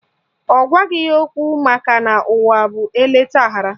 Ọ gwaghị ya okwu makana ụwa bụ eleta aghara